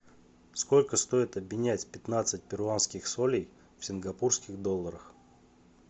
сколько стоит обменять пятнадцать перуанских солей в сингапурских долларах